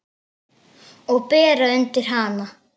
Og bera undir hana.